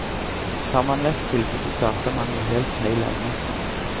Tar man vekk tilbudet, starter man i helt feil ende.